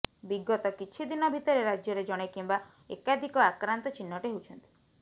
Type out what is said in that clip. ବିଜତ କିଛିଦିନ ଭିତରେ ରାଜ୍ୟରେ ଜଣେ କିମ୍ୱା ଏକାଧିକ ଆକ୍ରାନ୍ତ ଚିହ୍ନଟ ହେଉଛନ୍ତି